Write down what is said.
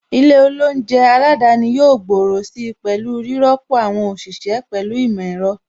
Ilé oúnjẹ aládani yóò gbòòrò si pẹ̀lú rírọ́pò àwọn òṣìṣẹ́ pẹ̀lú ìmọ̀ ẹ̀rọ.